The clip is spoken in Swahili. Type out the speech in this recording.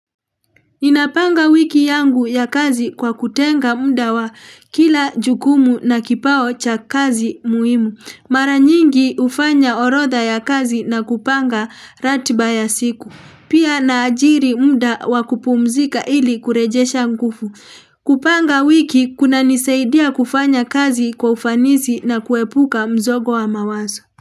Ninapanga wiki yangu ya kazi kwa kutenga muda wa kila jukumu na kipao cha kazi muhimu. Mara nyingi hufanya orodha ya kazi na kupanga ratiba ya siku. Pia naajiri muda wa kupumzika ili kurejesha nguvu. Kupanga wiki kuna nisaidia kufanya kazi kwa ufanisi na kuepuka mzogo wa mawazo.